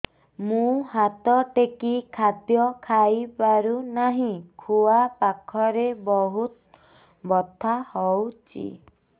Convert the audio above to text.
ମୁ ହାତ ଟେକି ଖାଦ୍ୟ ଖାଇପାରୁନାହିଁ ଖୁଆ ପାଖରେ ବହୁତ ବଥା ହଉଚି